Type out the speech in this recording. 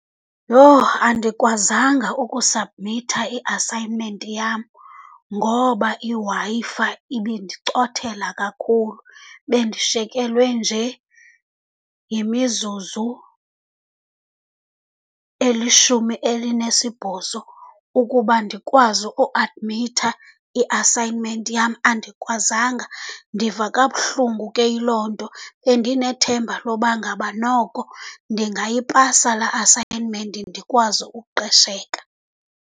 Yoh! Andikwazanga ukusabhmitha i-assignment yam ngoba iWi-Fi ibindicothela kakhulu. Bendishekelwe nje yimizuzu elishumi elinesibhozo ukuba ndikwazi usabhmitha i-assignment yam, andikwazanga. Ndiva kabuhlungu ke yiloo nto. Bendinethemba loba ngaba noko ndingayipasa laa assignment ndikwazi uqesheka.